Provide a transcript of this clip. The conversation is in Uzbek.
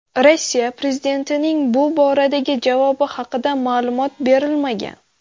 Rossiya prezidentining bu boradagi javobi haqida ma’lumot berilmagan.